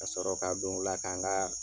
Ka sɔrɔ ka don u la ka n ka